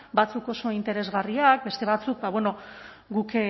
batzuk oso interesgarriak beste batzuk ba bueno guk